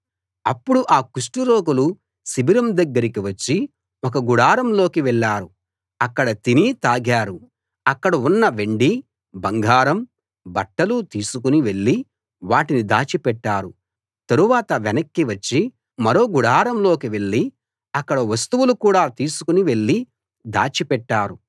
అప్పుడు ఆ కుష్టు రోగులు శిబిరం దగ్గరికి వచ్చి ఒక గుడారంలోకి వెళ్ళారు అక్కడ తిని తాగారు అక్కడ ఉన్న వెండీ బంగారం బట్టలూ తీసుకుని వెళ్లి వాటిని దాచి పెట్టారు తరువాత వెనక్కి వచ్చి మరో గుడారంలోకి వెళ్ళి అక్కడి వస్తువులు కూడా తీసుకు వెళ్ళి దాచి పెట్టారు